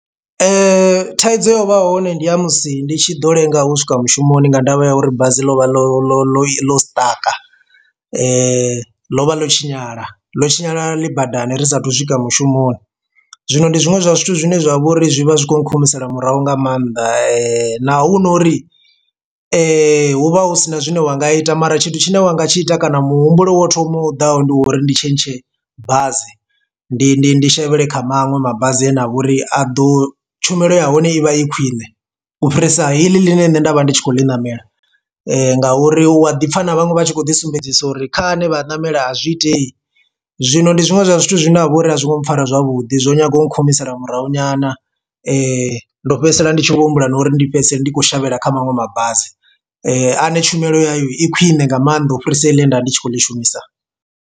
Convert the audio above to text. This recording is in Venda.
Thaidzo yo vha hone ndi ya musi ndi tshi ḓo lenga u swika mushumoni nga ndavha ya uri basi ḽo vha ḽo ḽo ḽo ḽo sṱaka ḽo vha ḽo tshinyala ḽo tshinyala ḽi badani ri sathu swika mushumoni. Zwino ndi zwiṅwe zwa zwithu zwine zwavha uri zwi vha zwi khou nkhumisela murahu nga maanḓa na hu no uri hu vha hu sina zwine wa nga ita mara tshithu tshine wanga tshi ita kana muhumbulo wo thoma u ḓaho ndi wa uri ndi tshentshe bazi ndi ndi ndi shavhela kha maṅwe mabasi ane a vha uri a ḓo tshumelo ya hone ivha i khwiṋe u fhirisa heila ḽine nṋe nda vha ndi tshi khou li namela, nga uri u a ḓi pfha na vhaṅwe vha tshi khou ḓisumbedzisa uri kha ane vha a ṋamele azwi itei. Zwino ndi zwiṅwe zwa zwithu zwine ha vha uri a zwi ngo mpfara zwavhuḓi zwo nyaga u nkhumisela murahu nyana ndo fhedzisela ndi tshi vho humbula na uri ndi fhedzisela ndi khou shavhela kha maṅwe mabasi ane tshumelo ya yo i khwine nga maanḓa u fhirisa ine nda vha ndi tshi khou ḽi shumisa.